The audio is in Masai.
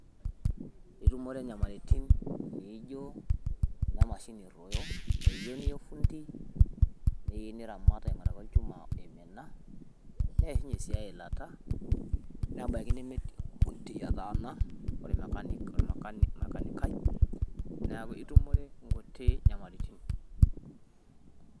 Itumore inyamalaritin naijo ine mashini eruoyo iyieu niya ofundi, niramat apik olchuma oimina, neishunye sii eilata nebaiki nemetii ofundi otaana ore ol mechanic. Niaku itumore nkutik nyamaritin